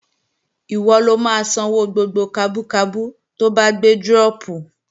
Ìwọ lo máa sanwó gbogbo kabú kabú to bá gbé dírọ̀pù